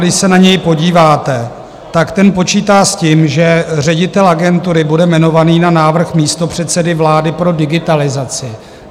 Když se na něj podíváte, tak ten počítá s tím, že ředitel agentury bude jmenovaný na návrh místopředsedy vlády pro digitalizaci.